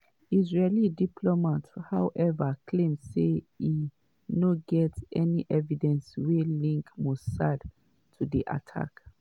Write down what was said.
israeli diplomats however claim say e no get any evidence wey link mossad to di attack.